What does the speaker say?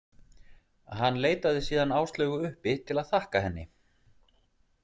Hann leitaði síðan Áslaugu uppi til að þakka henni.